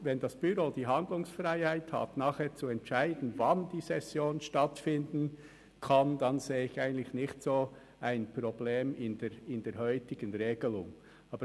Wenn das Büro die Handlungsfreiheit hat, zu entscheiden, wann die Session stattfinden soll, sehe ich in der heutigen Regelung kein Problem.